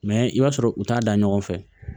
Mɛ i b'a sɔrɔ u t'a da ɲɔgɔn fɛ